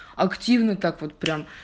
активный так вот